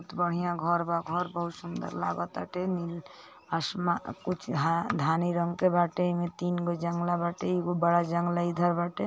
बहुत बढ़िया घर बा घर बहुत सुन्दर लगताते नील.. आशमा.. कुछ धा.. धानी रंग के बाटे इमे तीन को जंगला बाटेईगो बड़ा जंगला इधर बाटे।